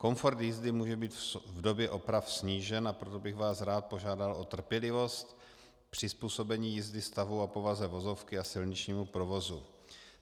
Komfort jízdy může být v době oprav snížen, a proto bych vás rád požádal o trpělivost, přizpůsobení jízdy stavu a povaze vozovky a silničnímu provozu.